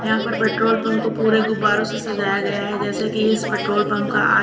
यहां पे petrol pump को पूरे गुब्बारों से सजाया गया है जैसे कि इस पेट्रोल पंप का आज--